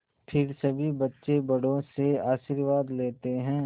फिर सभी बच्चे बड़ों से आशीर्वाद लेते हैं